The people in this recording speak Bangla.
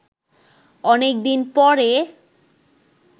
অনেকদিন পরে